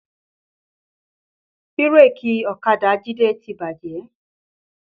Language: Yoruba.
Bírèkì ọ̀kadà Jide ti bàjẹ́